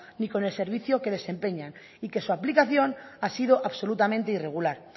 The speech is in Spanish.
ni con el servicio que desempeñan y que su aplicación ha sido absolutamente irregular